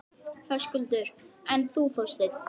Höskuldur: En þú, Þorsteinn?